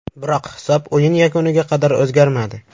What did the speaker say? Biroq hisob o‘yin yakuniga qadar o‘zgarmadi.